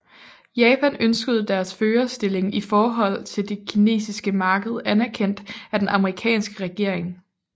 Japan ønskede deres førerstilling i forhold til det kinesiske marked anerkendt af den amerikanske regering